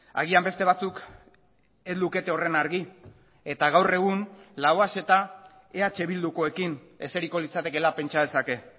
agian beste batzuk ez lukete horren argi eta gaur egun lauaxeta eh bildukoekin eseriko litzatekeela pentsa dezake